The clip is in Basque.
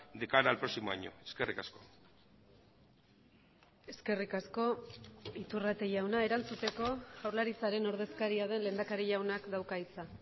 de cara al próximo año eskerrik asko eskerrik asko iturrate jauna erantzuteko jaurlaritzaren ordezkaria den lehendakari jaunak dauka hitza